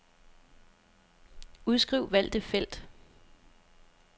Udskriv valgte felt.